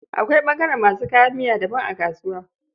Akwai ɓangaren masu kayan miya daban a kasuwa.